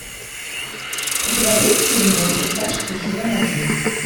у тебя будет фильм во все тяжкие сезон один